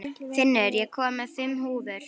Finnur, ég kom með fimm húfur!